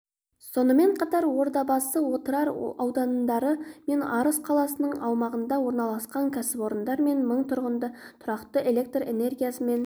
сонымен қатар ордабасы отырар аудандары мен арыс қаласының аумағында орналасатын кәсіпорындар мен мың тұрғынды тұрақты электр энергиясымен